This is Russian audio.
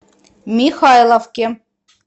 михайловке